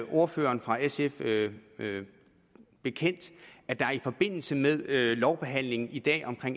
ordføreren for sf bekendt at der i forbindelse med lovbehandlingen i dag af